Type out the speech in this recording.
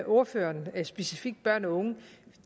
ordføreren specifikt børn og unge